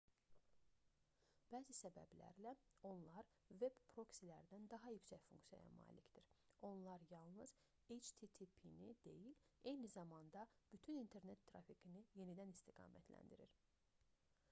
bəzi səbəblərlə onlar veb proksilərdən daha yüksək funksiyaya malikdir: onlar yalnız http-ni deyil eyni zamanda bütün i̇nternet trafikini yenidən istiqamətləndirir